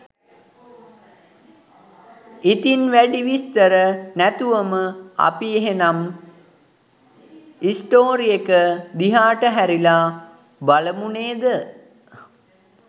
ඉතින් වැඩි විස්තර නැතුවම අපි එහෙනම් ස්ටෝරි එක දිහාට හැරිලා බලමු නේද?